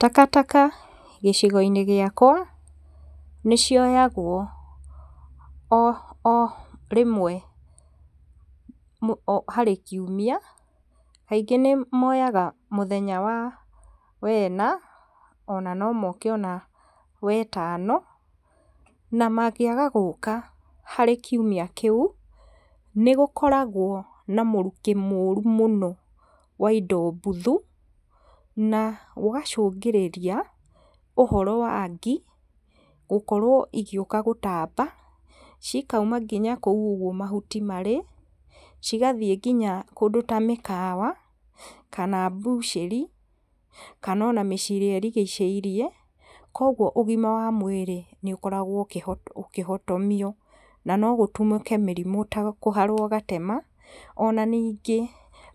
Takataka gĩcigo-inĩ gĩakwa, nĩ cioyagwo o, o rĩmwe harĩ kiumia, kaingĩ moyaga mũthenya wa, wena, ona no moke ona wetani, na mangĩaga gũka harĩ kiumia kĩu nĩ gũkoragwo na mũrukĩ mũru mũno wa indo mbuthu, na gũgacũngĩrĩria ũhoro wa ngi, gũkorwo igĩũka gũtamba, cikauma nginya kũu ũguo mahuti marĩ, cigathiĩ nginya kũndũ ta mĩkawa kana mbucĩri kana ona mĩciĩ ĩrĩa ĩrigicĩirie, koguo ũgima wa mwĩrĩ nĩ ũkoragwo ũkĩhotomio, na no gũtumũke mĩrimũ ta kũharwo gatema. Ona ningĩ